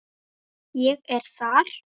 Ég er þar.